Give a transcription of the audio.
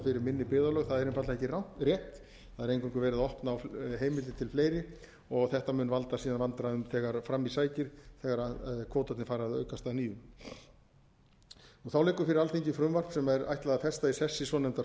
fyrir minni byggðarlög það er einfaldlega ekki rétt það er eingöngu verið að opna á heimildir til fleiri og þetta mun valda síðan vandræðum þegar fram í sækir þegar kvótarnir fara að aukast að nýju þá liggur fyrir alþingi frumvarp sem ætlað er að festa í sessi svonefndar